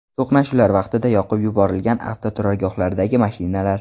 To‘qnashuvlar vaqtida yoqib yuborilgan avtoturargohlardagi mashinalar.